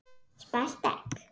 Spælt egg.